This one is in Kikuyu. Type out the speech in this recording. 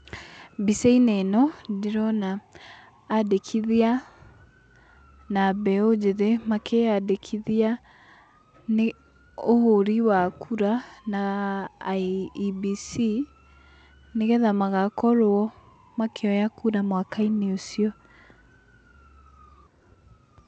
Mbica-inĩ ĩno ndĩrona andĩkithia na mbeũ njĩthĩ makĩyandĩkithia nĩ ũhũri wa kũra na IEBC, nĩgetha magakorwo makĩoya kura mwaka-inĩ ũcio.